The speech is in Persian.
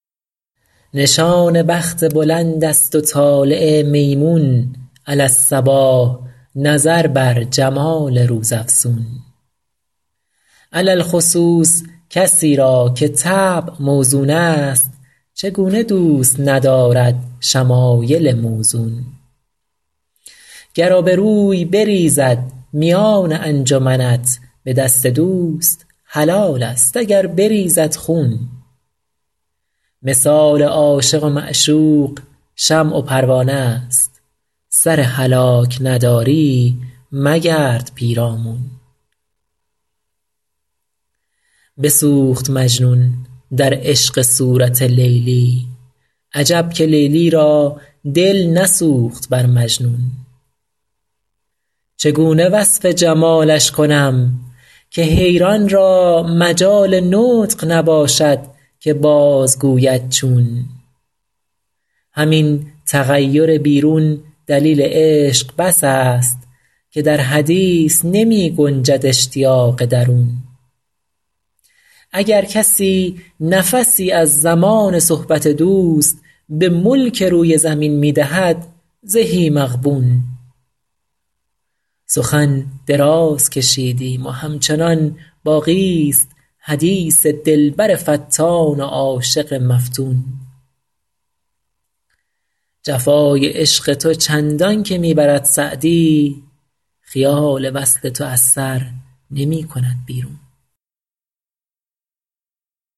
نشان بخت بلند است و طالع میمون علی الصباح نظر بر جمال روزافزون علی الخصوص کسی را که طبع موزون است چگونه دوست ندارد شمایل موزون گر آبروی بریزد میان انجمنت به دست دوست حلال است اگر بریزد خون مثال عاشق و معشوق شمع و پروانه ست سر هلاک نداری مگرد پیرامون بسوخت مجنون در عشق صورت لیلی عجب که لیلی را دل نسوخت بر مجنون چگونه وصف جمالش کنم که حیران را مجال نطق نباشد که بازگوید چون همین تغیر بیرون دلیل عشق بس است که در حدیث نمی گنجد اشتیاق درون اگر کسی نفسی از زمان صحبت دوست به ملک روی زمین می دهد زهی مغبون سخن دراز کشیدیم و همچنان باقی ست حدیث دلبر فتان و عاشق مفتون جفای عشق تو چندان که می برد سعدی خیال وصل تو از سر نمی کند بیرون